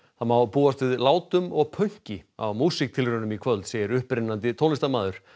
það má búast við látum og pönki á músíktilraunum í kvöld segir upprennandi tónlistarmaður